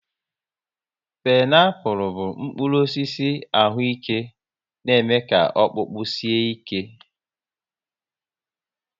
Pineapul bụ mkpụrụ osisi ahụ ike na eme ọkpụkpụ ka o sie ike